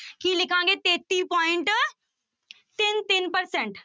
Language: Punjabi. ਕੀ ਲਿਖਾਂਗੇ ਤੇਤੀ point ਤਿੰਨ ਤਿੰਨ percent